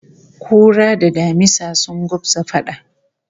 Kura da damisa sun gwabza fada